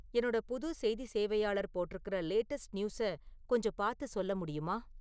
என்னோட புது செய்தி சேவையாளர் போட்டிருக்கிற லேட்டஸ்ட் நியூஸை கொஞ்சம் பாத்து சொல்ல முடியுமா?